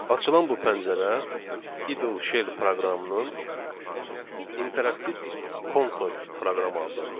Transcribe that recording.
Açılan bu pəncərə, Idle Shell proqramının interaktiv konsol proqramı adlandırılır.